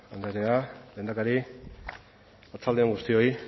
andrea lehendakari arratsalde on guztioi